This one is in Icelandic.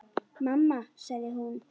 Mamma sagði hún.